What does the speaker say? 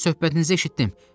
Söhbətinizi eşitdim.